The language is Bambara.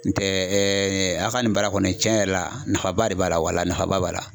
N tɛ a ka nin baara kɔni cɛn yɛrɛ la nafaba de b'a la wala nafaba b'a la.